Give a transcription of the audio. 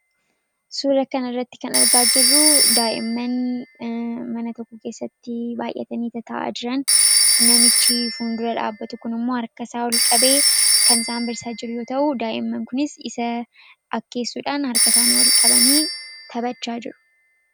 suura kan irratti kan argaa jirruu daa'imman mana tokko keessatti baay'atanii tataa'a jiran namichi fuundura dhaabatu kun immoo harkasaa ol qabee kan isaan barsiisaa jiru yoo ta'uu daa'imman kunis isa akkeessuudhaan harkasaanii ol qabanii taphachaa jiru.